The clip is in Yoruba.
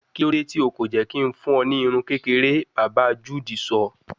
Kilode ti o ko jẹ ki n fun ọ ni irun kekere, baba Jude sọ